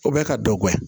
O bɛ ka dɔ bɔ yen